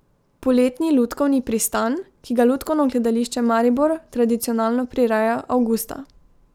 Poletni lutkovni pristan, ki ga Lutkovno gledališče Maribor tradicionalno prireja avgusta.